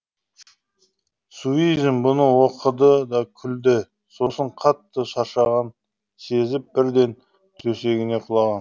суизин бұны оқыды да күлді сосын қатты шаршағанын сезіп бірден төсегіне құлаған